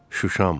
Şuşam.